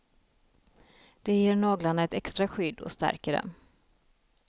Det ger naglarna ett extra skydd och stärker dem.